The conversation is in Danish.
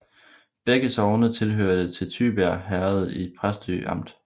Begge sogne hørte til Tybjerg Herred i Præstø Amt